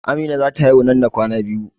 Amina za ta haihu nan da kwana biyu